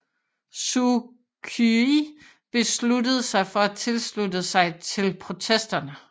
Suu Kyi besluttede sig for at tilslutte sig til protesterne